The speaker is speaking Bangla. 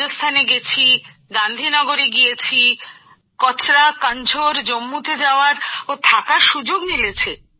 রাজস্থানে গেছি গান্ধীনগরে গিয়েছি কচরা কান্ঝোর জম্মুতে যাওয়ার ও থাকার সুযোগ মিলেছে